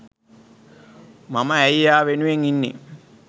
මම ඇයි එයා වෙනුවෙන් ඉන්නෙ